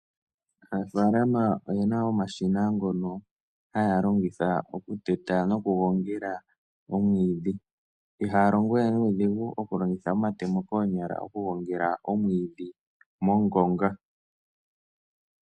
Aanafaalama oyena omashina ngono haya longitha okuteta nokugongela omwiidhi. Ihaya longo we nuudhigu okulongitha omatemo koonyala, okugongela omwiidhi mongonga.